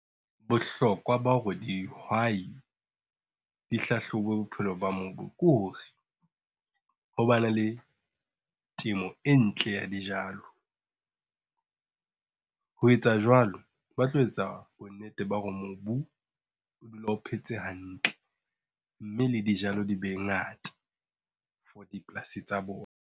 Bohlokwa ba hore dihwai di hlahlobe bophelo ba mobu ko hore, ho ba na le temo e ntle ya dijalo ho etsa jwalo, ba tlo etsa bonnete ba hore mobu o dule o phetse hantle, mme le dijalo di be ngata for dipolasi tsa bona.